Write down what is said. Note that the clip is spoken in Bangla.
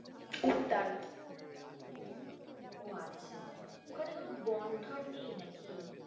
উদ্যান, ও আচ্ছা ওখানে কোনো বন ঠন নেই নাকি?